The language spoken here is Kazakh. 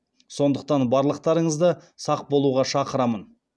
сондықтан барлықтарыңызды сақ болуға шақырамын